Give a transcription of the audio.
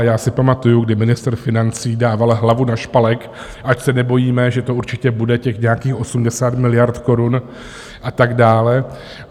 A já si pamatuji, kdy ministr financí dával hlavu na špalek, ať se nebojíme, že to určitě bude, těch nějakých 80 miliard korun a tak dále.